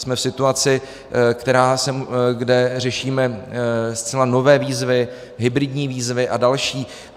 Jsme v situaci, kde řešíme zcela nové výzvy, hybridní výzvy a další.